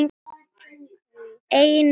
Ein vera.